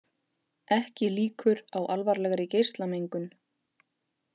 Ekki líkur á alvarlegri geislamengun